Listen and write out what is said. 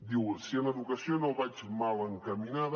diu si en educació no vaig mal encaminada